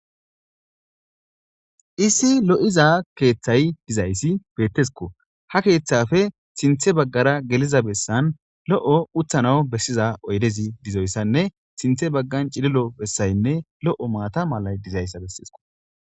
issi lo7iza keeththay dizayssi bettesko ha keeththafe sinthe baggara geliza bessan lo7o uthana bessiza oydezi dizoyssanne sinthe baggan cililo bessaynne lo7o maata malay dizayssa bessesko